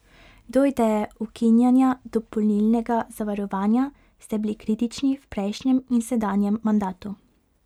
Do ideje ukinjanja dopolnilnega zavarovanja ste bili kritični v prejšnjem in sedanjem mandatu.